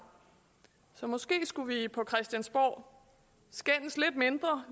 så måske skulle vi på christiansborg skændes lidt mindre